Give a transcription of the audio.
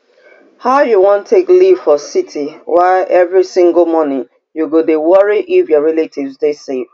how you wan take live for city wia every single morning you dey worry if your relatives dey safe